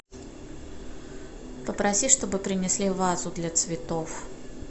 попроси чтобы принесли вазу для цветов